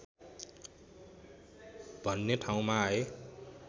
भन्ने ठाउँमा आए